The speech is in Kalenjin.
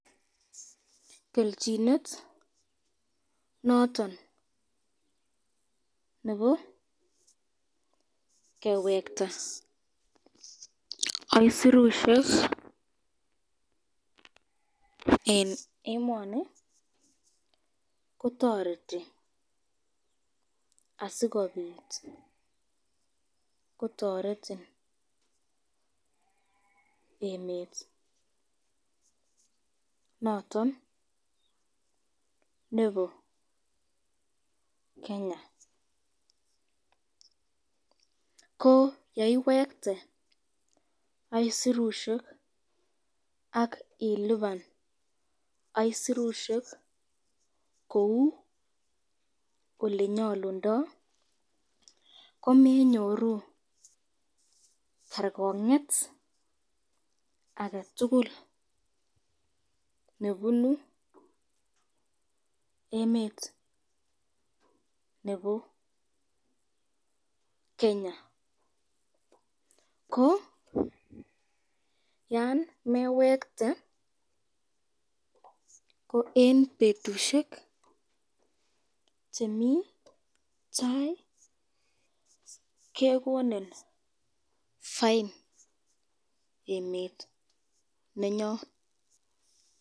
Kelchinet noton nebo kewekta isurusyek eng emani kotoreti asikobit kotoretin emet noton nebo Kenya, ko yeiwekte isurusyek ak iliban isurusyek kou olenyalundo , komenyoru kerkongen aketukul nebunu emet nebo Kenya, ko yan mewekte ,ko eng betushek chemi tai kekonin fain emet nenyon.